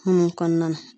Hun kɔnɔna na